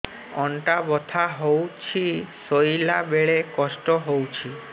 ଅଣ୍ଟା ବଥା ହଉଛି ଶୋଇଲା ବେଳେ କଷ୍ଟ ହଉଛି